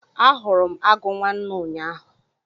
Ahụrụ m agụ nwanne ụnyaahụ.